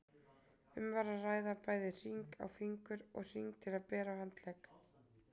Um var að ræða bæði hring á fingur og hring til að bera á handlegg.